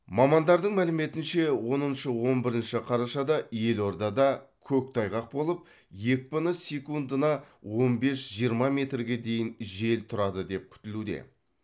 мамандардың мәліметінше оныншы он бірінші қарашада елордада көктайғақ болып екпіні секундына он бес жиырма метрге дейін жел тұрады деп күтілуде